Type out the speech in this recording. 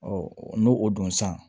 n'o o don san